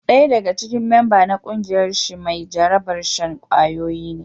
Daya daga cikin memba na kungiyar shi mai jarabar shan kwayoyi ne.